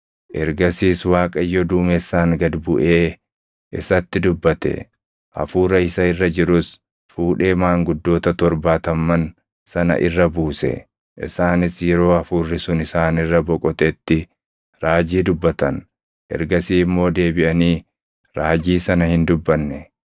Ergasiis Waaqayyo duumessaan gad buʼee isatti dubbate; Hafuura isa irra jirus fuudhee maanguddoota torbaatamman sana irra buuse. Isaanis yeroo Hafuurri sun isaan irra boqotetti raajii dubbatan; ergasii immoo deebiʼanii raajii sana hin dubbanne.